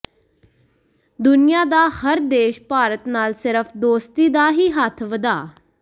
ਦੁਨਿਆ ਦਾ ਹਰ ਦੇਸ਼ ਭਾਰਤ ਨਾਲ ਸਿਰਫ ਦੋਸਤੀ ਦਾ ਹੀ ਹੱਥ ਵਧਾ